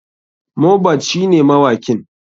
Mohbad shine mawakin.